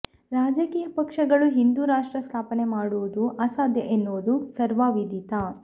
ರಾಜಕೀಯ ಪಕ್ಷಗಳು ಹಿಂದೂ ರಾಷ್ಟ್ರ ಸ್ಥಾಪನೆ ಮಾಡುವುದು ಅಸಾಧ್ಯ ಎನ್ನುವುದು ಸರ್ವವಿಧಿತ